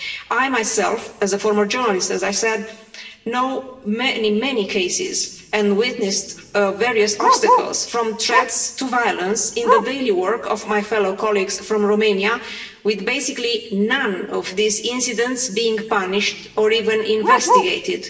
I myself, as a former journalist, as I said, know many cases and witnessed various obstacles, from threats to violence, in the daily work of my fellow colleagues from Romania, with basically none of these incidents being punished or even investigated.